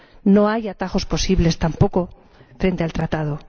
No hay atajos posibles tampoco frente al Tratado.